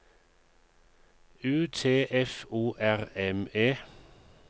U T F O R M E